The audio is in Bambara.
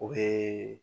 O bee